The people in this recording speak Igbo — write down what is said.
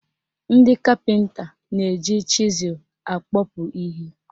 Ndị kapịnta na-eji chịzụl akpọpu ihe.